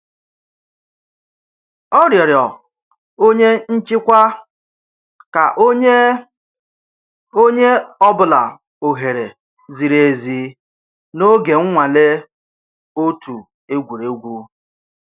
Ọ rịọrọ onye nchịkwa ka o nye onye ọ bụla ohere ziri ezi n'oge nnwale otu egwuregwu.